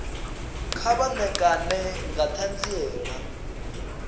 kha vha ṋekane nga ṱhanziela